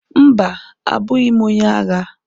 Mba! abụghị m onye agha.